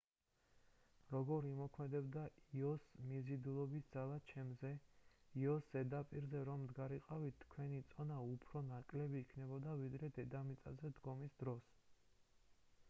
როგორ იმოქმედებდა იოს მიზიდულობის ძალა ჩემზე იოს ზედაპირზე რომ მდგარიყავით თქვენი წონა უფრო ნაკლები იქნებოდა ვიდრე დედამიწაზე დგომის დროს